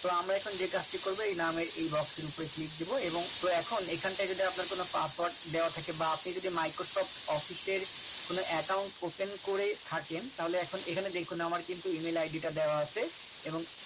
তো আমরা এখন যে কাজটি করব এ নামের এই box এর উপরে click দেব এবং তো এখন এখানটায় আপনার যদি কোন Password দেওয়া থাকে বা Microsoft office এর কোন Account open করে থাকেন তাহলে এখন এখানে দেখুন আমার কিন্তু আমার কিন্তু Email id টা দেওয়া আছে। এবং